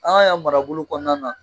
An ka yan marabolo kɔnɔna na.